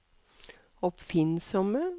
oppfinnsomme